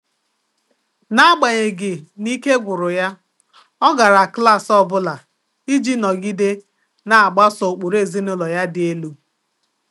N’ágbànyéghị́ nà íké gwụ̀rụ̀ yá, ọ gárá klás ọ bụ́lá ìjí nọgídé nà-àgbàsò ụ́kpụ́rụ́ èzínụ́lọ yá dị́ èlú.